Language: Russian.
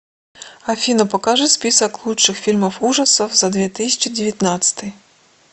афина покажи список лучших фильмов ужасов за две тысячи девятнадцатый